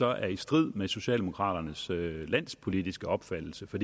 er i strid med socialdemokraternes landspolitiske opfattelse for